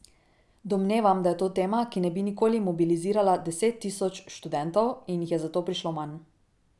Domnevam, da je to tema, ki ne bi nikoli mobilizirala deset tisoč študentov, in jih je zato prišlo manj.